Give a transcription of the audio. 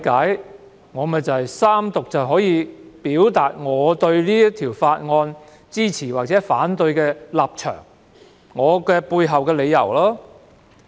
據我理解，在三讀辯論中，議員可表達支持或反對《條例草案》的立場及背後的理由。